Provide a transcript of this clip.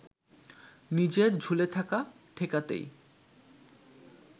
নিজের ঝুলে থাকা ঠেকাতেই